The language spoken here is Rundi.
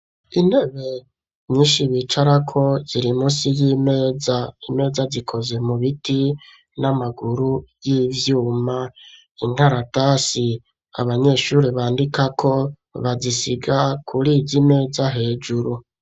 Intebe nyishi bicara ko ziri musi y'imeza imeza zikoze mu biti n'amaguru y'ivyuma inkaratasi abanyeshuri bandikako bazisiga kurizi meza hejuru